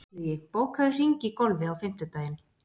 Illugi, bókaðu hring í golf á fimmtudaginn.